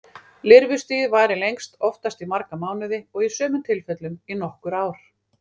Lirfustigið varir lengst, oftast í marga mánuði og í sumum tilfellum í nokkur ár.